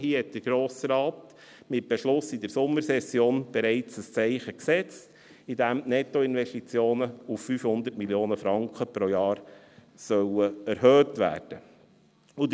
Hier hat der Grosse Rat mit Beschluss in der Sommersession bereits ein Zeichen gesetzt, indem die Nettoinvestitionen auf 500 Mio. Franken pro Jahr erhöht werden sollen.